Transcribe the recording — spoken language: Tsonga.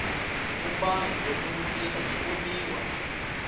vumbano wa nhluvukiso byi voniwa